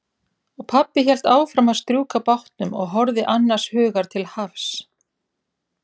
Og pabbi hélt áfram að strjúka bátnum og horfði annars hugar til hafs.